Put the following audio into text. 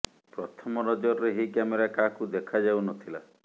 ପ୍ରଥମ ନଜରରେ ଏହି କ୍ୟାମେରା କାହାକୁ ଦେଖାଯାଉ ନ ଥିଲା